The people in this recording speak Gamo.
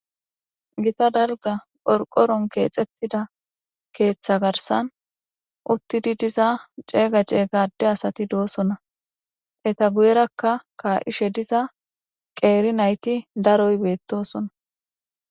Gita dalga qorqoron keexettida keeththa garsan uttidi diza ceega ceeygade asati doosona eta guyerakka kaa'ishe diza qeeri nayti daroy beettosona